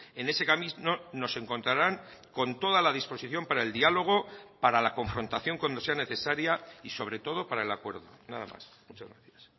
en ese camino nos encontraran con toda la disposición para el diálogo para la confrontación cuando sea necesaria y sobre todo para el acuerdo nada más muchas gracias